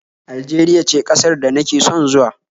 Aljeriya ce ƙasar da nake son zuwa